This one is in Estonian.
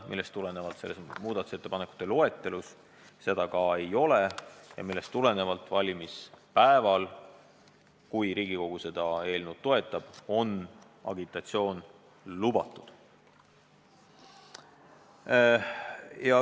Sellest tulenevalt seda ettepanekut muudatusettepanekute loetelus ka ei ole ja valimispäeval – juhul, kui Riigikogu seda eelnõu toetab – on agitatsioon lubatud.